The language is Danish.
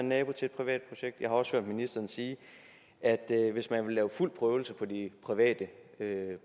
nabo til et privat projekt jeg har også hørt ministeren sige at hvis man vil lave fuld prøvelse på de private